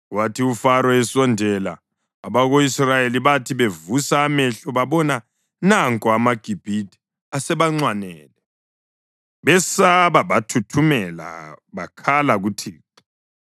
Kwathi uFaro esondela abako-Israyeli bathi bevusa amehlo babona nanko amaGibhithe asebanxwanele. Besaba bathuthumela bakhala kuThixo.